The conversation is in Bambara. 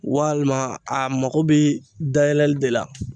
Walima a mako bɛ dayɛlɛli de la